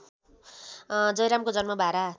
जयरामको जन्म बारा